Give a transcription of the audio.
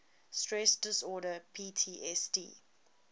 stress disorder ptsd